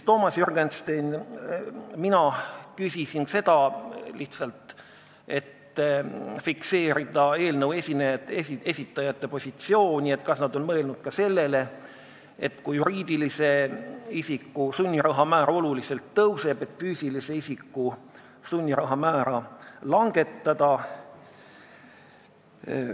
Toomas Jürgenstein ehk mina küsisin lihtsalt selleks, et fikseerida eelnõu esitajate positsiooni, kas nad on mõelnud ka sellele, et kui juriidilise isiku sunniraha määr oluliselt tõuseb, siis võiks füüsilise isiku sunniraha määra langetada.